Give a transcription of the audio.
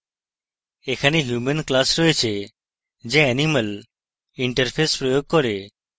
এখানে human class রয়েছে যা animal interface প্রয়োগ করে